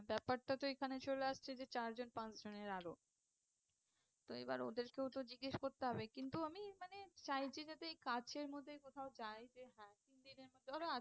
ব্যাপারটা তো এখানে চলে আসছে যে চার জন পাঁচ জনের আরো তো এবার ওদেরকেও তো জিজ্ঞেস করতে হবে কিন্তু আমি মানে চাইছি যাতে এই কাছের মধ্যে কোথাও যাই যে হ্যাঁ তিন দিনের মধ্যে ধরো